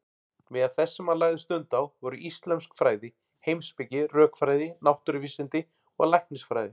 Meðal þess sem hann lagði stund á voru íslömsk fræði, heimspeki, rökfræði, náttúruvísindi og læknisfræði.